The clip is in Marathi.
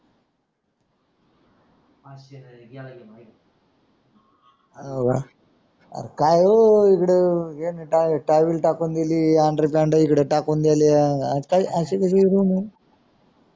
काय रे यानी टावेल टाकून दिली abuse